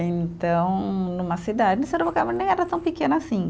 Então, numa cidade, Sorocaba nem era tão pequena assim.